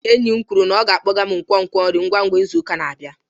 Enyi m kwuru na ọ ga-akpọga m nkwonkwo nri ngwa ngwa n'izu ụka na-abịa.